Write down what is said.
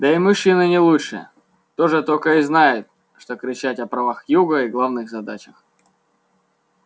да и мужчины не лучше тоже только и знают что кричать о правах юга и главных задачах